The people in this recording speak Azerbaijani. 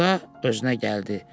Axırda özünə gəldi.